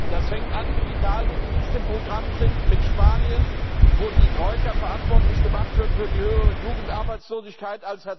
Das fängt an mit Italien, das nicht im Programm ist, mit Spanien, wo die Troika verantwortlich gemacht wird für die höhere Jugendarbeitslosigkeit.